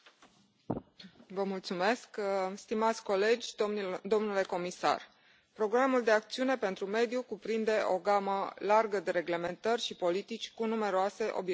Domnule președinte, stimați colegi, domnule comisar, programul de acțiune pentru mediu cuprinde o gamă largă de reglementări și politici cu numeroase obiective și ținte.